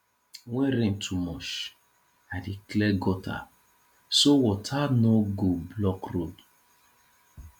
when rain too much i dey clear gutter so water no go block road